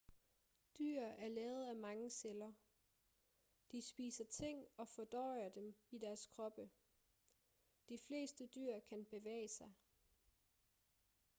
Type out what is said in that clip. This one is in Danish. dyr er lavet af mange celler de spiser ting og fordøjer dem i deres kroppe de fleste dyr kan bevæge sig